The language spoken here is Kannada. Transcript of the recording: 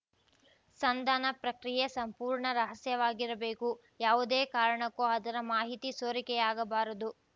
ಸಂಧಾನ ಪ್ರಕ್ರಿಯೆ ಸಂಪೂರ್ಣ ರಹಸ್ಯವಾಗಿರಬೇಕು ಯಾವುದೇ ಕಾರಣಕ್ಕೂ ಅದರ ಮಾಹಿತಿ ಸೋರಿಕೆಯಾಗಬಾರದು